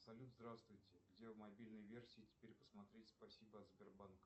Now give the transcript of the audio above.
салют здравствуйте где в мобильной версии теперь посмотреть спасибо от сбербанка